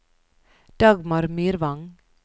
Dagmar Myrvang